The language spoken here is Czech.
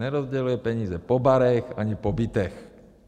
Nerozděluje peníze po barech ani po bytech.